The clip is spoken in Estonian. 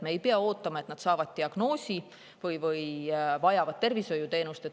Me ei pea ootama, et nad saavad diagnoosi ja vajavad tervishoiuteenust.